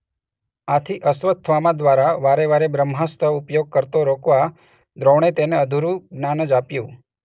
આથી અશ્વત્થામા દ્વારા વારે વારે બ્રહ્માસ્ત્ર ઉપયોગ કરતો રોકવા દ્રોણે તેને અધૂરું જ્ઞાન જ આપ્યું.